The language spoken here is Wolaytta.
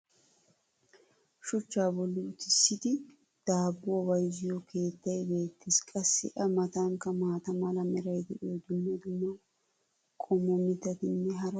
shuchchaa boli uttisidi daabuwa bayzziyo keettay beetees. qassi a matankka maata mala meray diyo dumma dumma qommo mitattinne hara dumma dumma irxxabati de'oosona.